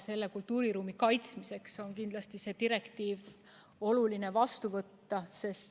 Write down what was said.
Selle kultuuriruumi kaitsmiseks on kindlasti oluline see direktiiv vastu võtta.